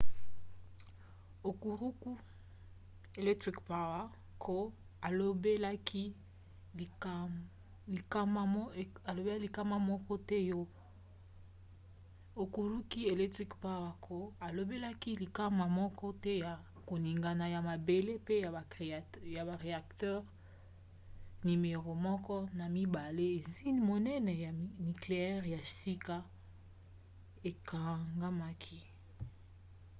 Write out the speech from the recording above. hokuriku electric power co. alobelaki likama moko te ya koningana ya mabele pe ba reacteur nimero 1 na 2 izine monene ya nikleyere ya shika ekangamaki